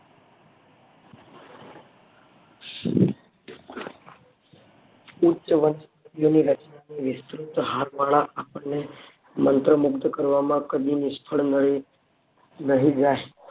ઉચ્ચ વસ્તુ ની રચનાની વિસ્તૃત હારમાળા આપણને મંત્રમુક્ત કરવામાં કદી નિષ્ફળ નહિ જાય